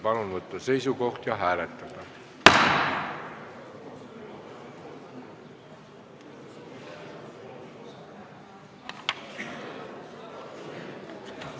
Palun võtta seisukoht ja hääletada!